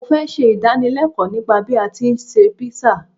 Mo fẹ́ ṣe ìdánilẹ́ẹ̀kọ́ nípa bí a tí ń ṣe Písà.